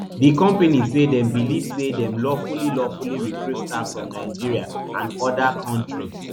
di company say dem beliv say dem lawfully lawfully recruit staff from nigeria and oda kontris